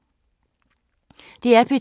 DR P2